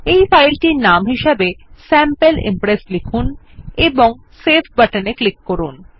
এই ফাইলটির নাম হিসাবে স্যাম্পল Impressলিখুন এবং সেভ বাটনে ক্লিক করুন